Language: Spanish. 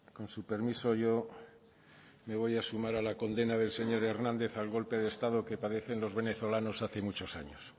con su permiso yo me voy a sumar a la condena del señor hernández al golpe de estado que padecen los venezolanos hace muchos años